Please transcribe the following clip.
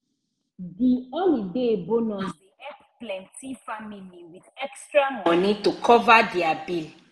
the holiday bonus dey help plenti family with extra money to cover dia bill.